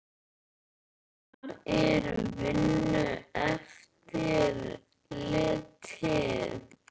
Hvar er Vinnueftirlitið?